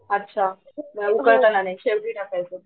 अच्छा मग करताना नाही शेवटी टाकायचं